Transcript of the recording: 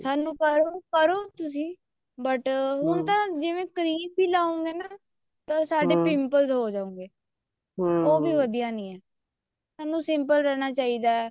ਸਾਨੂੰ ਕਰੋ ਕਰੋ ਤੁਸੀਂ but ਹੁਣ ਤਾਂ ਜਿਵੇਂ cream ਵੀ ਲਾਓ ਗੇ ਨਾ ਤਾਂ ਸਾਡੇ pimples ਹੋ ਜਾਣਗੇ ਉਹ ਵੀ ਵਧੀਆ ਨਹੀਂ ਹੈ ਸਾਨੂੰ simple ਰਹਿਣਾ ਚਾਹੀਦਾ